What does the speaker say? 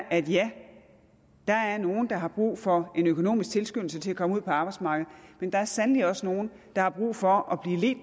at ja der er nogle der har brug for en økonomisk tilskyndelse til at komme ud på arbejdsmarkedet men der er sandelig også nogle der har brug for